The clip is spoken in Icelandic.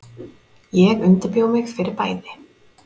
Ég undirbjó mig fyrir bæði.